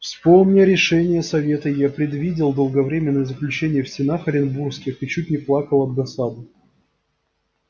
вспомня решение совета я предвидел долговременное заключение в стенах оренбургских и чуть не плакал от досады